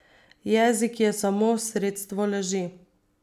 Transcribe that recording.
Jezik je samo sredstvo laži.